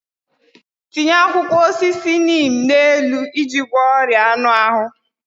Tinye akwụkwọ osisi neem n'elu iji gwọọ ọrịa anụ ahụ.